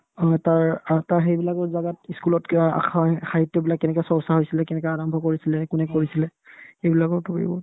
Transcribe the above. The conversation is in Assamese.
অ, তাৰ আহ্ তাৰ সেইবিলাকত জাগাত ই school কিয় আসা সাহিত্যবিলাক কেনেকে চৰ্চা হৈছিলে কেনেকে আৰম্ভ কৰিছিলে কোনে কৰিছিলে সেইবিলাকক ধৰিব